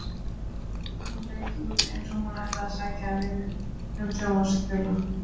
Hún leit út eins og hún ætlaði að sækja um vinnu sem sjónvarpsþula.